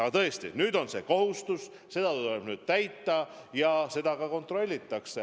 Aga tõesti, nüüd on see kohustus, seda tuleb täita ja seda ka kontrollitakse.